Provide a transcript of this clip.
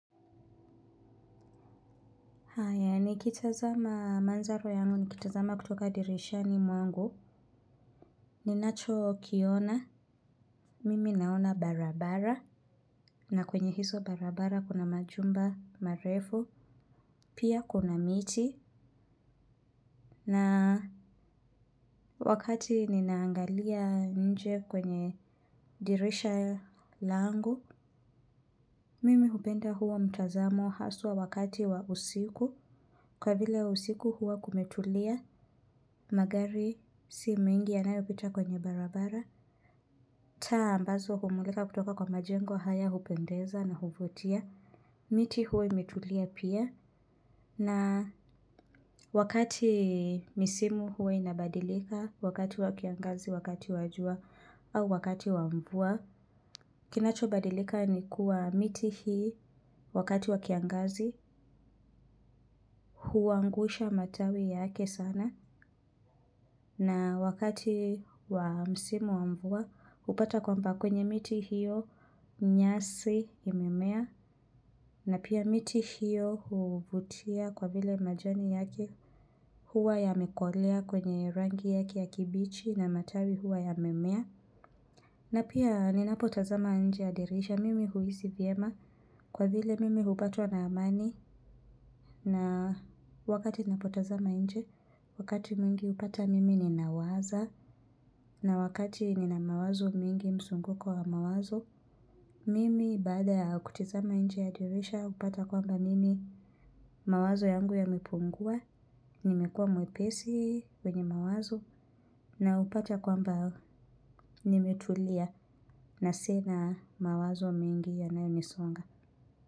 Haya, nikitazama manzaro yangu, nikitazama kutoka dirishani mwangu, ninachokiona, mimi naona barabara, na kwenye hizo barabara kuna majumba marefu, pia kuna miti, na wakati ninaangalia nje kwenye dirisha langu, mimi hupenda huo mtazamo haswa wakati wa usiku kwa vile usiku huwa kumetulia magari si mengi yanayopita kwenye barabara taa ambazo humulika kutoka kwa majengo haya hupendeza na huvutia miti huwa imetulia pia na wakati misimu huwa inabadilika wakati wa kiangazi wakati wa jua au wakati wa mvua kinachobadilika ni kuwa miti hii wakati wa kiangazi huangusha matawi yake sana. Na wakati wa msimu wa mvua hupata kwamba kwenye miti hiyo nyasi imemea. Na pia miti hiyo huvutia kwa vile majani yake huwa yamekolea kwenye rangi yake ya kibichi. Na matawi huwa yamemea. Na pia ninapotazama nje ya dirisha mimi huhisi vyema kwa vile mimi hupatwa na amani. Na wakati ninapotazama nje, wakati mwingi hupata mimi ninawaza. Na wakati nina mawazo mingi mzunguko wa mawazo. Mimi baada ya kutizama nje ya dirisha hupata kwamba mimi mawazo yangu yamepungua. Nimekuwa mwepesi wenye mawazo na hupata kwamba nimetulia na sina mawazo mingi yanayonisonga.